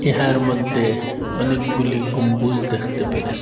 ইহার মধ্যে অনেকগুলি গম্বুজ দেখতে পেরেসি ।